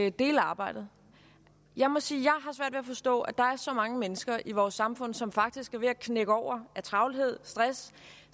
at dele arbejdet jeg må sige at at forstå at der er så mange mennesker i vores samfund som faktisk er ved at knække over af travlhed og stress